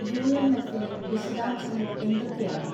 യുഎംഎഫിലെ വിശദാംശങ്ങൾ എന്തൊക്കെയാണ്